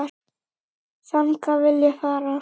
Þangað vil ég fara.